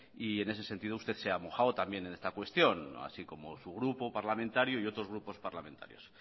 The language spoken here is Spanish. y en ese sentido usted se ha mojado también en esta cuestión así como su grupo parlamentario y otros grupos parlamentarios